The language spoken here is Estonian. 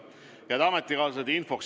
Head ametikaaslased!